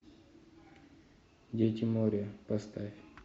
дети моря поставь